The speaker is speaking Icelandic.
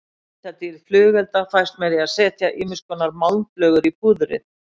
Litadýrð flugelda fæst með því að setja ýmiskonar málmflögur í púðrið.